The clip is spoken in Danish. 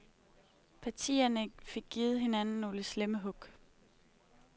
Partierne fik givet hinanden nogle slemme hug.